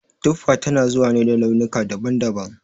Tuffa tana zuwa ne da launuka daban daban